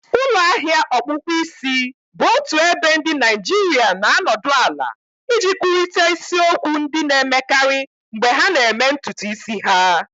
ulo ahia ọkpụkpụ isi bụ otu ebe ndị Naịjirịa na-anọdụ ala iji kwurịta isiokwu ndị na-emekarị mgbe ha na-eme ntutu isi ha